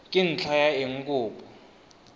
ka ntlha ya eng kopo